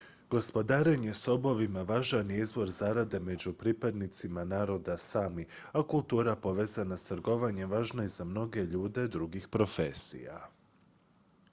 gospodarenje sobovima važan je izvor zarade među pripadnicima naroda sami a kultura povezana s trgovanjem važna je i za mnoge ljude drugih profesija